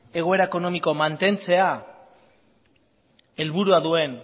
egoera ekonomiko mantentzea helburua duen